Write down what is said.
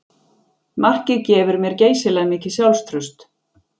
Markið gefur mér geysilega mikið sjálfstraust